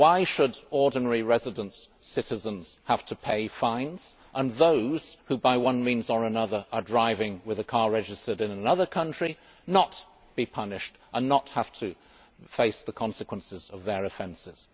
Why should ordinary resident citizens have to pay fines and those who by one means or another are driving a car registered in another country not be punished and not have to face the consequences of their offences?